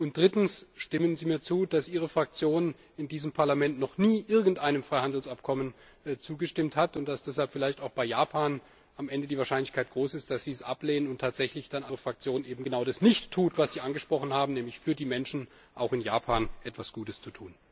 Und drittens Stimmen Sie mir zu, dass Ihre Fraktion in diesem Parlament noch nie irgendeinem Freihandelsabkommen zugestimmt hat, und dass deshalb vielleicht am Ende auch bei Japan die Wahrscheinlichkeit groß ist, dass Sie es ablehnen und Ihre Fraktion dann tatsächlich genau das nicht tut, was Sie angesprochen haben, nämlich für die Menschen auch in Japan etwas Gutes zu tun?